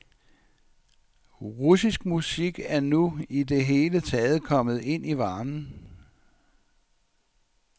Russisk musik er nu i det hele taget kommet ind i varmen.